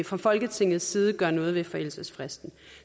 fra folketingets side gør noget ved forældelsesfristen